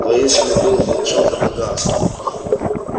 воинственный пыл волчонка погас